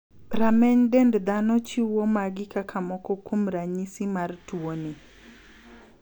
Rameny dend dhano chiwo magi kaka moko kuom ranyisi mar tuoni.